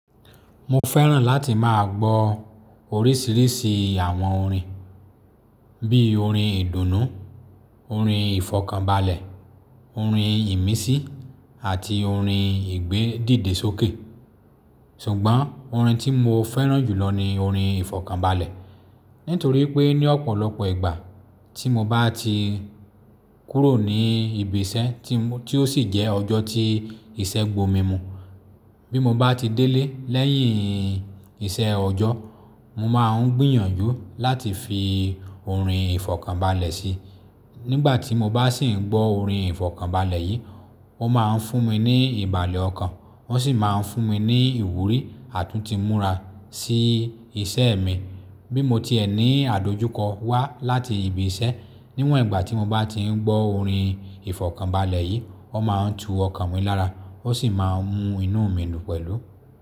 Mo fẹ́ràn láti máa gbọ oríṣiríṣi àwọn orin bí i orin ìdùnnú, orin ìfọ̀kànbalẹ̀, orin ìmísí àti orin ìgbédìdè sókè. Ṣùgbọ́n orin tí mo fẹ́ràn jùlọ ni orin ìfọ̀kànbalẹ̀. Nítorí pé ní ọ̀pọ̀lọpọ̀ ìgbà tí mo bá ti kúrò ní ibi iṣẹ́ tí ó sì jẹ́ ọjọ́ tí ìṣẹ́ gbò mímu. Bí mo bá ti délé lẹ́yìn iṣẹ́ ọjọ́, mo máa ń gbìyànjú láti fi orin ìfọ̀kànbalẹ̀ sí i. Nígbà tí mo bá sì ń gbọ́ orin ìfọ̀kànbalẹ̀ yìí, wọ́n máa ń fún mi ní ìbàlẹ̀ ọkàn, wọ́n sì máa ń fún mi ní ìwúrí àtúntì múra sí iṣẹ́ mi. Bí mo ti ẹ ní adójúkọ wá láti ibi iṣẹ́ níwọ̀n ìgbà tí mo bá ti ń gbọ́ orin ìfọ̀kànbalẹ̀ yìí, wọ́n máa ń tu ọkàn mi lára, wọ́n sì máa ń mú inú mi dùn pẹ̀lú.